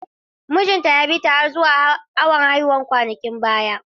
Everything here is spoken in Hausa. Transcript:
Mijinta ya bi ta har zuwa awon haihuwa kwanakin baya.